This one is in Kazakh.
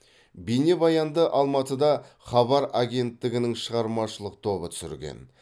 бейнебаянды алматыда хабар агенттігінің шығармашылық тобы түсірген